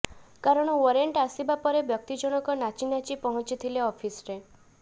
କାରଣ ୱରେଣ୍ଟ ଆସିବା ପରେ ବ୍ୟକ୍ତି ଜଣକ ନାଚି ନାଚି ପହଂଚିଥିଲେ ଅଫିସରେ